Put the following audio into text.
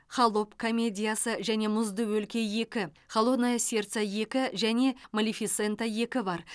холоп комедиясы және мұзды өлке екі холодное сердце екі және малефисента екі бар